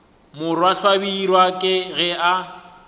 morwa hlabirwa ke ge a